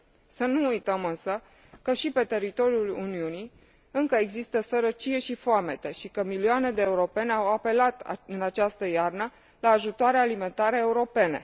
Să nu uităm însă că și pe teritoriul Uniunii încă există sărăcie și foamete și că milioane de europeni au apelat în această iarnă la ajutoare alimentare europene.